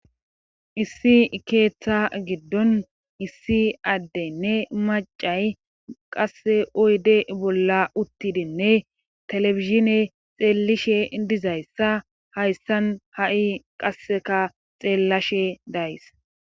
Issi ikeeththa giddon issi addeynne macay qasse oyde bolla uttidenne telefisine xeellishe dizayssa hayssan ha7i qasseka xeellashe days.